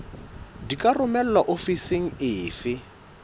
di ka romelwa ofising efe